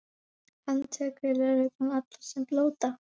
Handtekur lögreglan alla sem blóta?